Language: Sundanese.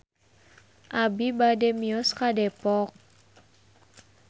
Abi bade mios ka Depok